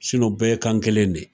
u bɛɛ kan kelen de.